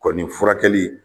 Kɔni furakɛli